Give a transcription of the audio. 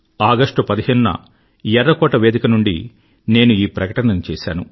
ఆగస్టు15 న ఎర్రకోట వేదిక నుండి నేను ఈ ప్రకటనను చేసాను